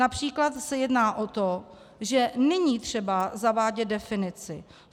Například se jedná o to, že není třeba zavádět definici.